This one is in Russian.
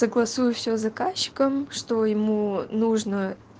согласую всё с заказчиком что ему нужно